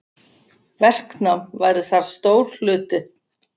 Verknám væri þar stór hluti.